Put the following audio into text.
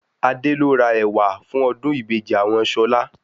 Adé lo rà ẹ̀wà fún ọdún ìbejì àwọn Ṣọlá